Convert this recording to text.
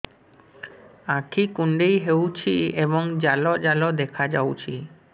ଆଖି କୁଣ୍ଡେଇ ହେଉଛି ଏବଂ ଜାଲ ଜାଲ ଦେଖାଯାଉଛି